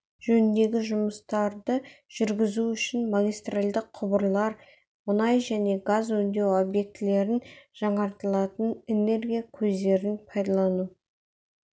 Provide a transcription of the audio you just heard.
жөніндегі жұмыстарды жүргізу үшін магистральды құбырлар мұнай және газ өңдеу объектілерін жаңартылатын энергия көздерін пайдалану